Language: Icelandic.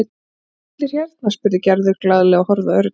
Eru bara allir hérna? spurði Gerður glaðlega og horfði á Örn.